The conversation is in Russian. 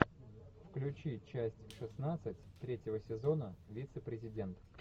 включи часть шестнадцать третьего сезона вице президент